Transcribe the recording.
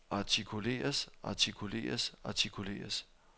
artikuleres artikuleres artikuleres